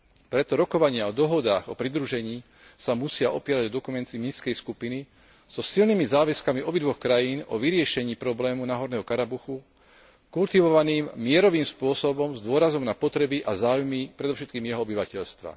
Preto rokovania o dohodách o pridružení sa musia opierať o dokumenty Minskej skupiny so silnými záväzkami obidvoch krajín o vyriešení problému náhorného Karabachu kultivovaným mierovým spôsobom s dôrazom na potreby a záujmy predovšetkým jeho obyvateľstva.